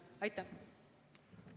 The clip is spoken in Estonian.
Aitäh!